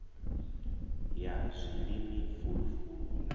ya zwilimi fulu fulu na